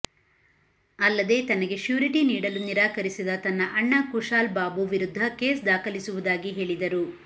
ಅಲ್ಲದೆ ತನಗೆ ಶ್ಯೂರಿಟಿ ನೀಡಲು ನಿರಾಕರಿಸಿದ ತನ್ನ ಅಣ್ಣ ಕುಶಾಲ್ಬಾಬು ವಿರುದ್ಧ ಕೇಸ್ ದಾಖಲಿಸುವುದಾಗಿ ಹೇಳಿದರು